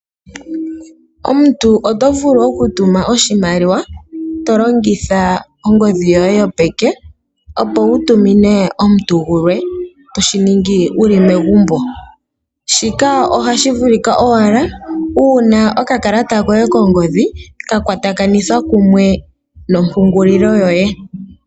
Omuntu otovulu okutuma oshimaliwa tolongitha ongodhi yoye yopeke opo wutumine omuntu gulwe toshiningi wuli megumbo shika ohashi vulika owala uuna okakalata koye kongodhi kakwatakanithwa kumwe nompungulilo yoye.